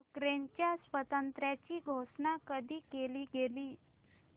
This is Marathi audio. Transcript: युक्रेनच्या स्वातंत्र्याची घोषणा कधी केली गेली